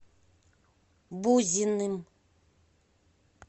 бузиным